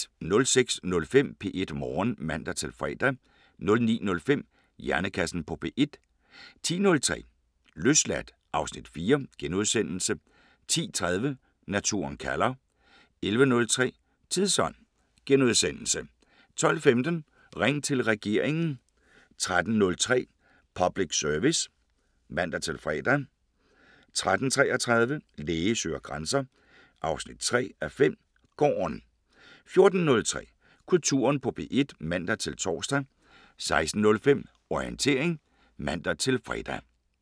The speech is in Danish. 06:05: P1 Morgen (man-fre) 09:05: Hjernekassen på P1 10:03: Løsladt (Afs. 4)* 10:30: Naturen kalder 11:03: Tidsånd * 12:15: Ring til regeringen 13:03: Public Service (man-fre) 13:33: Læge søger grænser 3:5 – Gården 14:03: Kulturen på P1 (man-tor) 16:05: Orientering (man-fre)